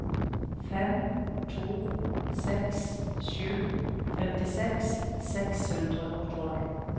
fem to seks sju femtiseks seks hundre og tolv